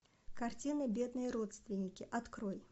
картина бедные родственники открой